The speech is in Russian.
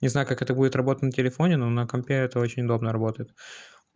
не знаю как это будет работа на телефоне но на компе это очень удобно работает